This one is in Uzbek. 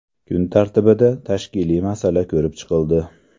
Kun tartibida tashkiliy masala ko‘rib chiqildi.